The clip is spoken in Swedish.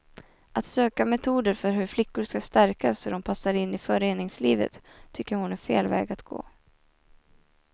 Att söka metoder för hur flickor ska stärkas så att de passar in i föreningslivet tycker hon är fel väg att gå.